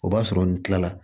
O b'a sɔrɔ n kilala